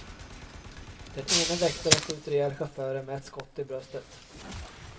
Den ene väktaren skjuter ihjäl chauffören med ett skott i bröstet.